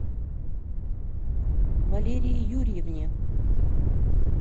валерии юрьевне